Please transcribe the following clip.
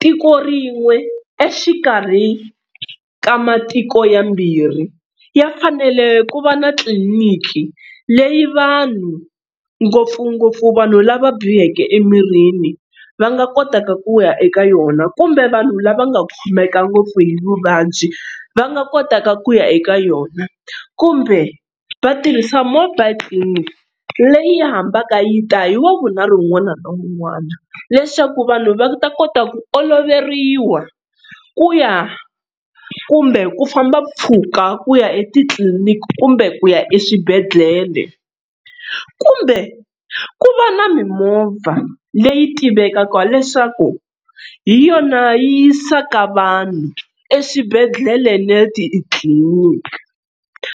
tiko rin'we exikarhi ka matiko yambirhi ya fanele ku va na tliliniki leyi vanhu ngopfungopfu vanhu lava biheke emirini va nga kotaka ku ya eka yona kumbe vanhu lava nga khomeka ngopfu hi vuvabyi va nga kotaka ku ya eka yona kumbe va tirhisa mobile clinic leyi yi hambana yi ta hi wavunharhu wun'wana na wun'wana leswaku vanhu va ta kota ku oloveriwa ku ya kumbe ku famba mpfhuka ku ya etitliniki kumbe ku ya eswibedhlele kumbe ku va na mimovha leyi tivekaka leswaku hi yona yi yisaka vanhu eswibedhlele na le titliliniki.